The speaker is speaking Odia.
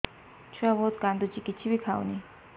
ଛୁଆ ବହୁତ୍ କାନ୍ଦୁଚି କିଛିବି ଖାଉନି